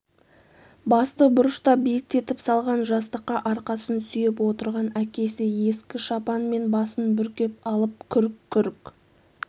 басты бұрышта биіктетіп салған жастыққа арқасын сүйеп отырған әкесі ескі шапанмен басын бүркеп алып күрк-күрк